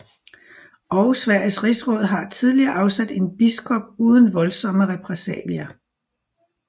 Og Sveriges rigsråd havde tidligere afsat en biskop uden voldsomme repressalier